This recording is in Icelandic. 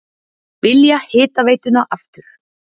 Vilja hitaveituna aftur